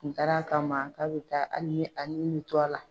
Kun taara kama k'a be taa ali ni a ni be to a la